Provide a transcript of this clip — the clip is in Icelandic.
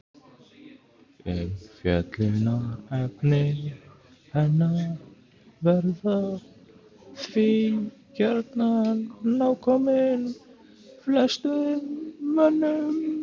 Umfjöllunarefni hennar verða því gjarnan nákomin flestum mönnum.